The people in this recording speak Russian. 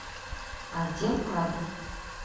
отдел кадров